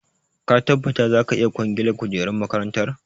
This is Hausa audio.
Ka tabbata za ka iya kwangilar kujerun makarantar?